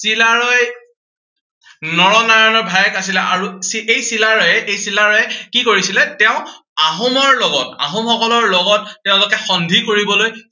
চিলাৰায় নৰনাৰায়ণৰ ভায়েক আছিলে আৰু এই চিলাৰয়ে, এই চিলাৰয়ে কি কৰিছিলে, তেওঁ আহোমৰ লগত, আহোমসকলৰ লগত তেওঁলোকে সন্ধি কৰিবলৈ